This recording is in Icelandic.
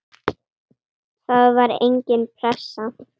Það var engin pressa.